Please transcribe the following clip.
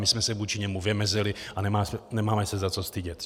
My jsme se vůči němu vymezili a nemáme se za co stydět.